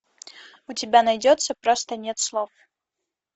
у тебя найдется просто нет слов